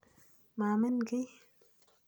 Maamin kiy.